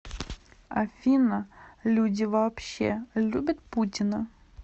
афина люди вообще любят путина